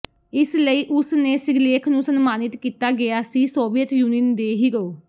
ਇਸ ਲਈ ਉਸ ਨੇ ਸਿਰਲੇਖ ਨੂੰ ਸਨਮਾਨਿਤ ਕੀਤਾ ਗਿਆ ਸੀ ਸੋਵੀਅਤ ਯੂਨੀਅਨ ਦੇ ਹੀਰੋ